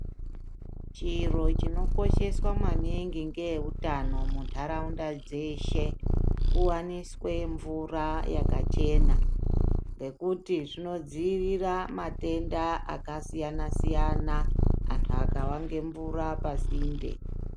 Chiro chinokosheswa maningi ngeeutano muntharaunda dzeshe, kuwaniswe mvura yakachena, ngekuti zvinodziirira matenda akasiyana-siyana, anthu akava ngemvura pasinde.